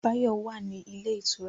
Báyọ̀ wà ní ilé ìtura